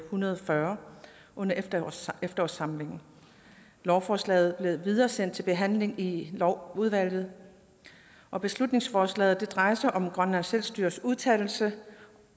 hundrede og fyrre under efterårssamlingen lovforslaget blev videresendt til behandling i lovudvalget og beslutningsforslaget drejer sig om grønlands selvstyres udtalelse